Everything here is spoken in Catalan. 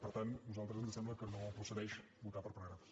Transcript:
per tant a nosaltres ens sembla que no procedeix votar per paràgrafs